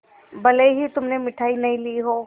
भले ही तुमने मिठाई नहीं ली हो